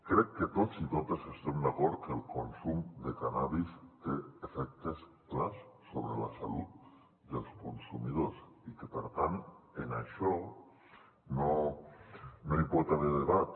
crec que tots i totes estem d’acord que el consum de cànnabis té efectes clars sobre la salut dels consumidors i que per tant en això no hi pot haver debat